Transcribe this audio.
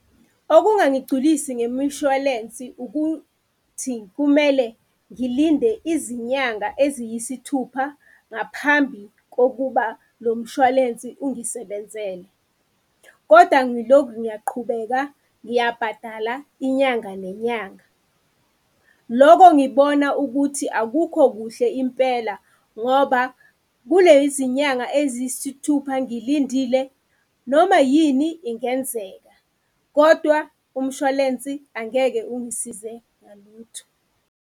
Okungangigculisi ngemishwalensi ukuthi kumele ngilinde izinyanga eziyisithupha ngaphambi kokuba lo mshwalensi ungisebenzele koda ngilokhu ngiyaqhubeka ngiyabhadala inyanga nenyanga. Loko ngibona ukuthi akukho kuhle impela ngoba kulezi nyanga eziyisithupha ngilindile noma yini ingenzeka, kodwa umshwalensi angeke ungisize ngalutho.